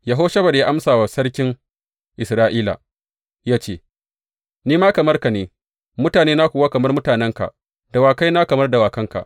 Yehoshafat ya amsa wa sarkin Isra’ila, ya ce, Ni ma kamar ka ne, mutanena kuwa kamar mutanenka, dawakaina kamar dawakanka.